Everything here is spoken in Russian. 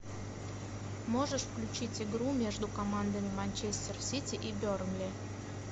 можешь включить игру между командами манчестер сити и бернли